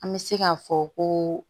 An bɛ se k'a fɔ ko